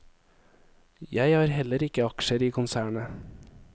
Jeg har heller ikke aksjer i konsernet.